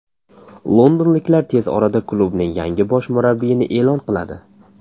Londonliklar tez orada klubning yangi bosh murabbiyini e’lon qiladi.